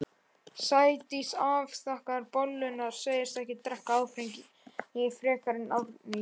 Sædís afþakkar bolluna, segist ekki drekka áfengi frekar en Árný.